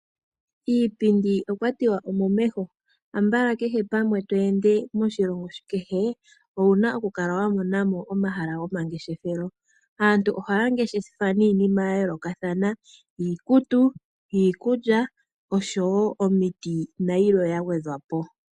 Iipindi okwa tiwa omomeho. Ambala kehe pamwe to ende moshilongo kehe, owu na okukala wa mona mo omahala gomangeshefelo. Aantu ohaya ngeshefa niinima ya yoolokathana, iikutu, iikulya osho wo omiti nayilwe ya gwedhwa po.